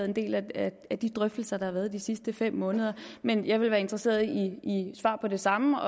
en del af af de drøftelser der har været de sidste fem måneder men jeg vil være interesseret i et svar på det samme